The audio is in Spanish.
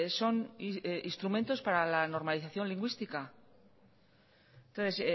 son instrumentos para la normalización lingüística entonces